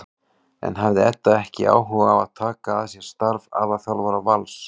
En hafði Edda ekki áhuga á að taka að sér starf aðalþjálfara Vals?